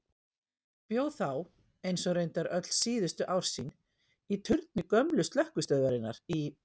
Hann bjó þá, eins og reyndar öll síðustu ár sín, í turni gömlu slökkvistöðvarinnar í